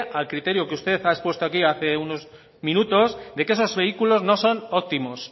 al criterio que usted ha expuesto aquí hace unos minutos de que esos vehículos no son óptimos su